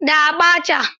da Abacha.